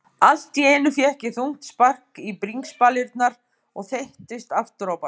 Allt í einu fékk ég þungt spark í bringspalirnar og þeyttist afturábak.